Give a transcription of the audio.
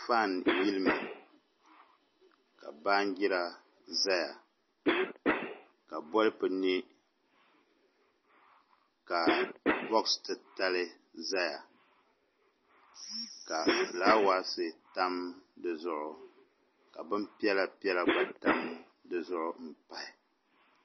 Faan yilimi ka baanjira ʒɛya ka bolfu niɛ ka boksi titali ʒɛya ka fulaawaasi tam dizuɣu ka bin piɛla piɛla gba tam dizuɣu pahi